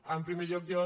en primer lloc jo